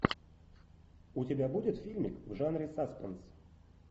у тебя будет фильмик в жанре саспенс